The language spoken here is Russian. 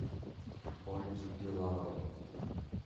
ольги билаловой